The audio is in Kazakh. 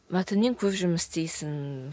мәтінмен көп жұмыс істейсің